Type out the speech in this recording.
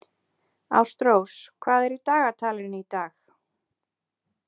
Ástrós, hvað er í dagatalinu í dag?